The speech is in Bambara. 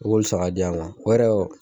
I b'olu san ka di yan o yɛrɛ